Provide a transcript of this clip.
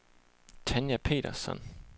Tanja Petersson